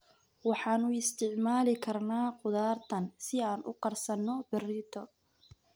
Waxaan u isticmaali karnaa khudaartan si aan u karsanno berrito.